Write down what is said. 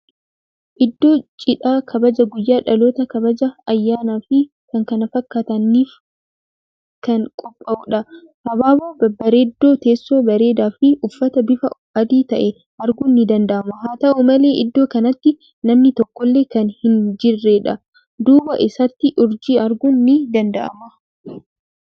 Iddoo cidhaa, kabaja guyyaa dhalootaa, kabaja ayyaanaa fii k.k.f niif kan qophaa'uudha. Habaaboo babbareedoo, teessoo bareedaa fii uffata bifa adii ta'e arguun ni danda'ama. Haa ta'u malee iddoo kanatti namni tokkollee kan hin jirreedha. Duubaa isaatti urjii arguun ni danda'ama.